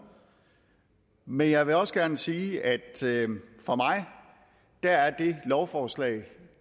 men jeg vil også gerne sige at for mig er det lovforslag